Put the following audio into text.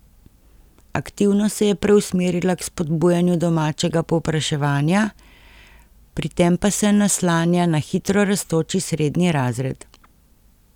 Aktivno se je preusmerila k spodbujanju domačega povpraševanja, pri tem pa se naslanja na hitro rastoči srednji razred.